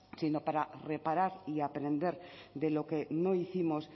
sino para reparar y aprender de lo que no hicimos